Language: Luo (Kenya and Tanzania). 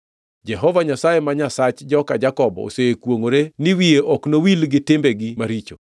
Jehova Nyasaye ma Nyasach joka Jakobo osekwongʼore ni wiye ok nowil gi timbegi maricho.